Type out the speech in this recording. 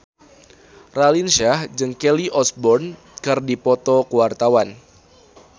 Raline Shah jeung Kelly Osbourne keur dipoto ku wartawan